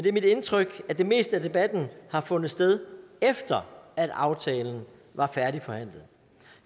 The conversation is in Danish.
er mit indtryk at det meste af debatten har fundet sted efter at aftalen var færdigforhandlet